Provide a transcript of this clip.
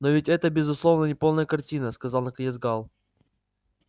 но ведь это безусловно неполная картина сказал наконец гаал